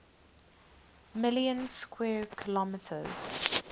million square kilometers